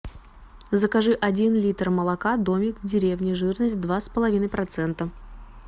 закажи один литр молока домик в деревне жирность два с половиной процента